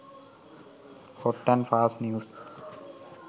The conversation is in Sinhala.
hot and fast news